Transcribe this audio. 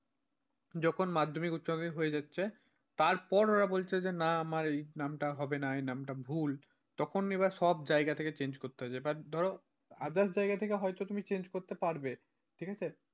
যখন মাধ্যমিক উচ্চমাধ্যমিক হয়ে যাচ্ছে তারপর ওরা বলছে যে না আমার এই নামটা হবে না এই নামটা ভুল তখন এবার সব জায়গা থেকে change করতে হচ্ছে হয়তো এবার ধরো others জায়গা হয়তো তুমি change করতে পারবে, ঠিক আছে।